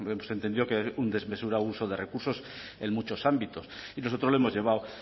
hemos entendido que hay un desmesurado uso de recursos en muchos ámbitos y nosotros lo hemos llevado